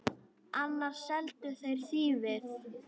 Annars seldu þeir þýfið.